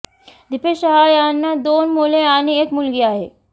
दीपेश शहा यांना दोन मुले आणि एक मुलगी आहे